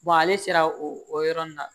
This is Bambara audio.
ale sera o yɔrɔ nin na